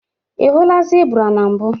Ị hụla zebra na mbụ